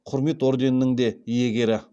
құрмет орденінің де иегері